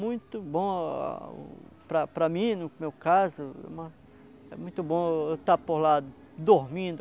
Muito bom para para mim, no meu caso, é muito bom eu eu estar por lá dormindo